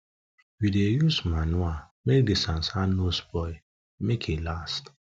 we dey use manure make the no spoil make e last